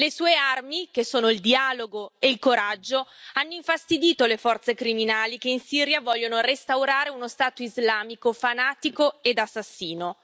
Le sue armi, che sono il dialogo e il coraggio hanno infastidito le forze criminali che, in Siria, vogliono restaurare uno stato islamico fanatico ed assassino.